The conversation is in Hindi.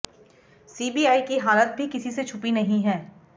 सीबीआई की हालत भी किसी से छुपी नहीं है